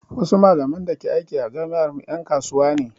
Wasu malaman da ke aiki a jami'ar mu ƴan kasuwa ne